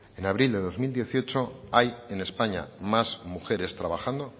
en abril de dos mil dieciocho hay en españa más mujeres trabajando